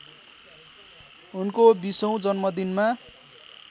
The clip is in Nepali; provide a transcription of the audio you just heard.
उनको बीसौँ जन्मदिनमा